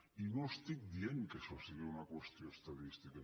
i no dic que això sigui una qüestió estadística